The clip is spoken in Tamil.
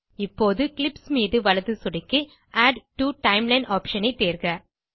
இப்போது கிளிப்ஸ் மீது வலது சொடுக்கி ஆட் டோ டைம்லைன் ஆப்ஷன் ஐ தேர்க